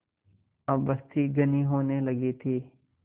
अब बस्ती घनी होने लगी थी